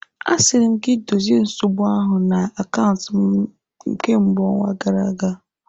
Asịrị m gị dozie nsogbu ahụ na akaụntụ m kemgbe ọnwa gara aga!